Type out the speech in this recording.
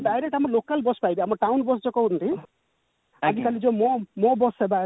direct ଆମ local bus ପାଇବେ ଆମ town bus ଯଉ କହୁଛନ୍ତି ଆଜିକାଲି ଯଉ ମୋ ମୋ bus ସେବା